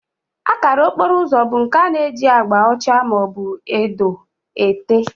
Akara okporo ụzọ bụ nke a na-eji agba ọcha maọbụ edo ete